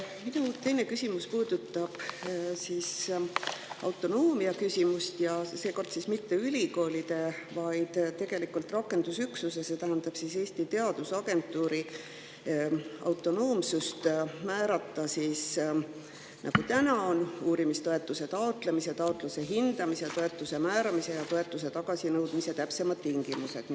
Minu teine küsimus puudutab autonoomiat ja seekord mitte ülikoolide, vaid rakendusüksuse, see tähendab Eesti Teadusagentuuri autonoomsust määrata, nagu täna on, uurimistoetuse taotlemise, taotluse hindamise, toetuse määramise ja toetuse tagasinõudmise täpsemad tingimused.